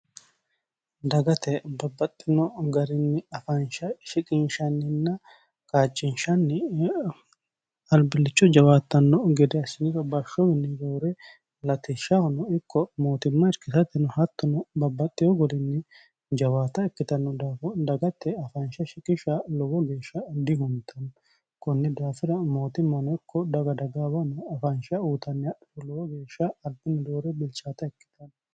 dagate babbaxxino garinni afaansha shiqinshanninna kaachinshanni albillicho jawaattanno gede assiniro bashshominni roore latishshahono ikko mootimma irkisateno hattono babbaxxino golinni jawaata ikkitanno daafo dagatte afaansha shikishsha lowo geeshsha dihuntanno kunni daafira mootimmano ikko daga dagaawa afaansha uutanni hadhro lowo geeshsha albinni roore bilchaata ikkitanno